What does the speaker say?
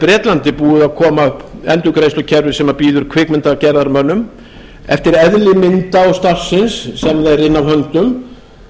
bretlandi búið að koma upp endurgreiðslukerfi sem býður kvikmyndagerðarmönnum eftir eðli mynda og starfsins sem þeir inna af höndum